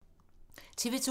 TV 2